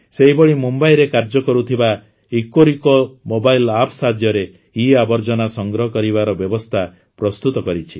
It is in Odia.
ସେହିଭଳି ମୁମ୍ବଇରେ କାର୍ଯ୍ୟ କରୁଥିବା ଇକୋରିକୋ ମୋବାଇଲ୍ ଆପ୍ ସାହାଯ୍ୟରେ ଇଆବର୍ଜନା ସଂଗ୍ରହ କରିବାର ବ୍ୟବସ୍ଥା ପ୍ରସ୍ତୁତ କରିଛି